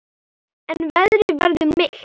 En veðrið verður milt.